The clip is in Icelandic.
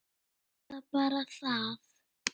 Er það bara það?